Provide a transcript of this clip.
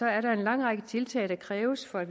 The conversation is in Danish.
er der en lang række tiltag der kræves for at